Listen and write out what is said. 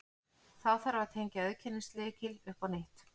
Þá þarf að tengja auðkennislykil upp á nýtt.